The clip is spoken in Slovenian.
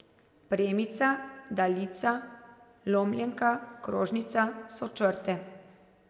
Premica, daljica, lomljenka, krožnica so črte.